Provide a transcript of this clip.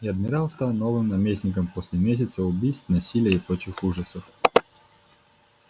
и адмирал стал новым наместником после месяца убийств насилия и прочих ужасов